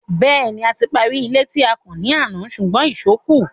Bẹ́ẹ̀ni, a ti parí ilé tí à ń kàn ní àná ṣùgbọ́n ìṣó kù.